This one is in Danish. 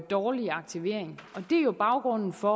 dårlig aktivering og det er jo baggrunden for